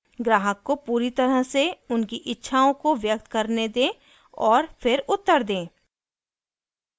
ग्राहक को पूरी तरह से उनकी इच्छाओं को व्यक्त करने दें और फिर उत्तर दें